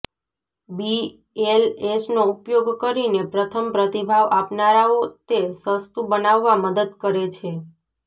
બીએલએસનો ઉપયોગ કરીને પ્રથમ પ્રતિભાવ આપનારાઓ તે સસ્તું બનાવવા મદદ કરે છે